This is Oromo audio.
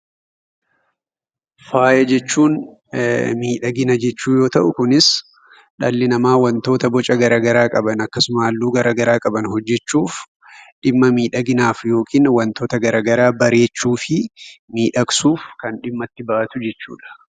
Faaya jechuun miidhagina jechuu yoo ta'u, kunis dhalli namaa wantoota boca garaa garaa qaban akkasuma halluu gara garaa qaban hojjechuuf dhimma miidhaginaaf yookiin wantoota gara garaa bareechuu fi miidhagsuuf kan dhimma itti ba'atu jechuudha.